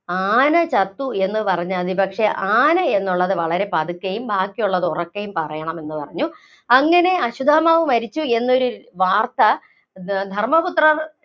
ആന ചത്തു എന്ന് പറഞ്ഞാ മതി. പക്ഷേ, ആന എന്നുള്ളത് വളരെ പതുക്കെയും ബാക്കിയുള്ളത് വളരെ ഉറക്കെയും പറയണമെന്ന് പറഞ്ഞു. അങ്ങിനെ അശ്വത്ഥമാവ് മരിച്ചു എന്നൊരു വാര്‍ത്ത ധര്‍മപുത്രന്‍റെ